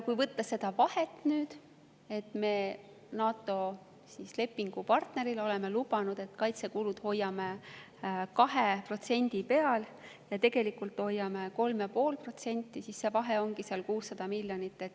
Kui vaadata seda, et me NATO lepingupartnerina oleme lubanud, et kaitsekulud hoiame 2% peal, aga tegelikult hoiame neid 3,5% peal, siis see vahe ongi 600 miljonit.